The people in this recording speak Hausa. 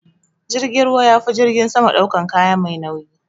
Jirgin ruwa yafi jirgin sama daukan kaya mai nauyi.